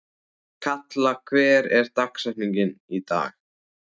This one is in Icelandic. Kalla, hver er dagsetningin í dag?